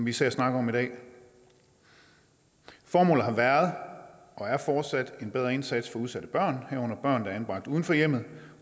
især snakker om i dag formålet har været og er fortsat en bedre indsats for udsatte børn herunder børn der er anbragt uden for hjemmet